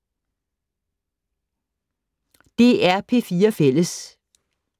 DR P4 Fælles